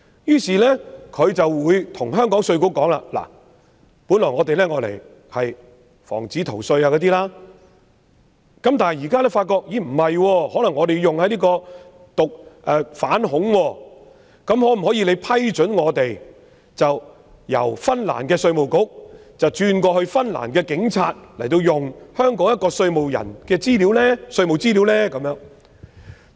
因此，如果香港稅務局知道原本為防止逃稅而索取的資料可能用於反恐調查時，香港稅務局未必會批准那些資料由芬蘭的稅務局轉移至芬蘭的警署，任讓他們使用香港人的稅務資料。